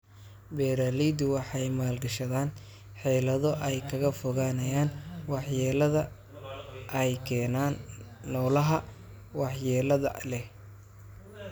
Beeraleydu waxay maalgashadaan xeelado ay kaga fogaanayaan waxyeelada ay keenaan noolaha waxyeelada leh.